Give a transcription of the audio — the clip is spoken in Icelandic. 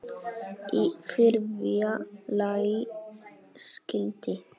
Í þriðja lagi skyldi